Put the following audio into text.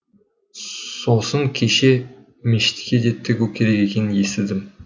сосын кеше мешітке де тігу керек екенін естідім